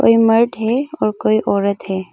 ये मर्द है और कोई औरत है।